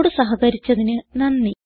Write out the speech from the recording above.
ഞങ്ങളോട് സഹകരിച്ചതിന് നന്ദി